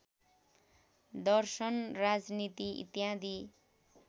दर्शन राजनीति इत्यादि